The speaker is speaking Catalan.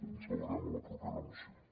ens veurem a la propera moció